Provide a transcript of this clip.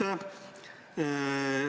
Aitäh!